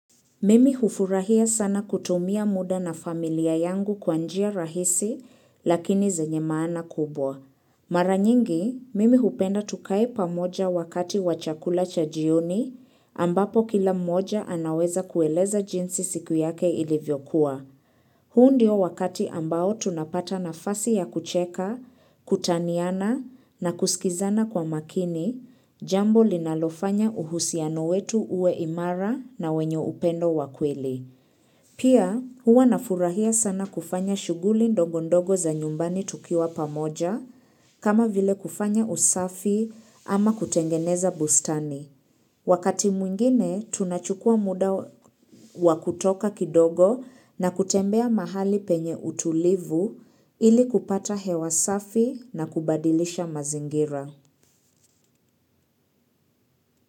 Mimi hufurahia sana kutumia muda na familia yangu kwa njia rahisi lakini zenye maana kubwa. Mara nyingi, mimi hupenda tukae pamoja wakati wa chakula cha jioni ambapo kila mmoja anaweza kueleza jinsi siku yake ilivyokuwa. Huu ndio wakati ambao tunapata nafasi ya kucheka, kutaniana na kusikizana kwa makini, jambo linalofanya uhusiano wetu uwe imara na wenye upendo wa kweli. Pia huwa nafurahia sana kufanya shughuli ndogo ndogo za nyumbani tukiwa pamoja, kama vile kufanya usafi ama kutengeneza bustani. Wakati mwingine, tunachukua muda wa kutoka kidogo na kutembea mahali penye utulivu ili kupata hewa safi na kubadilisha mazingira.